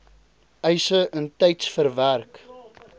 eise intyds verwerk